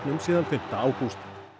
síðan fimmta ágúst